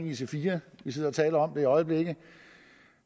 ic4 vi sidder og taler om det i øjeblikket